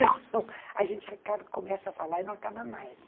E não, a gente começa a falar e não acaba mais.